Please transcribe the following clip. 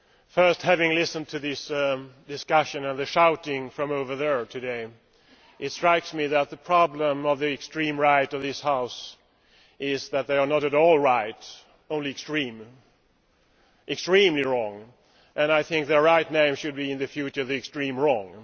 Firstly, having listened to this discussion and the shouting from over there today, it strikes me that the problem of the extreme right in this House is that they are not at all right, only extreme extremely wrong, and I think that their correct name should in future be the extreme wrong'.